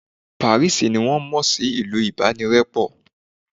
Paris ni won mo sí ìlú ibanirepo